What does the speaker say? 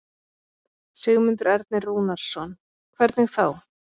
Sigmundur Ernir Rúnarsson: Hvernig þá?